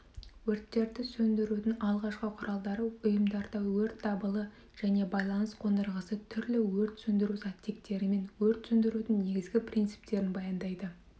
өрттерді сөндірудің алғашқы құралдары ұйымдарда өрт дабылы және байланыс қондырғысы түрлі өрт сөндіру заттектерімен өрт сөндірудің негізгі принциптерін баяндайды